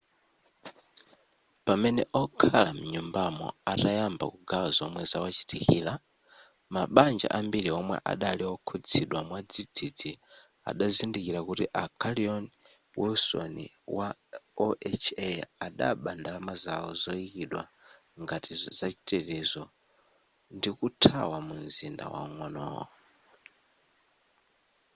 pamene okhala m'manyumbamo atayamba kugawa zomwe zawachitikira mabanja ambiri omwe adali okhuzidwa mwadzidzi adazindikira kuti a carolyn wilson wa oha adaba ndalama zawo zoyikidwa ngati zachitetezo ndikuthawa mumzinda waung'onowo